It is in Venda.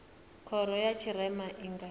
khoro ya tshirema i nga